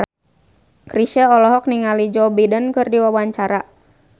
Chrisye olohok ningali Joe Biden keur diwawancara